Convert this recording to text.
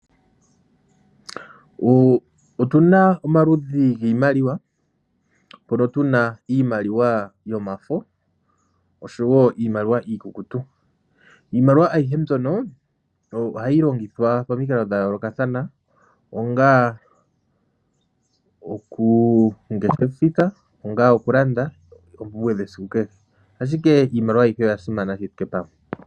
Otuna omaludhi giimaliwa mpoka tuna iimaliwa yomafo osho wo iimaliwa iikukutu. Iimaliwa ayihe mbyoka ohayi longithwa pamikalo dhayoolokathana onga okudeposita nenge okulanda oompumwe dhesiku kehe, ashike iimaliwa ayihe oyasimana shi thike pamwe.